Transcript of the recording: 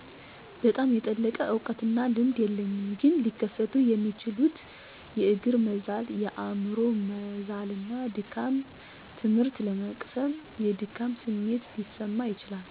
በጣም የጠለቀ እውቀትና ልምድ የለኝም ግን ሊከሰቱ የሚችሉት የእግር መዛል፣ የአምሮ መዛልና ድካም፣ ትምህርት ለመቅሰም የድካም ስሜት ሊሰማው ይችላል።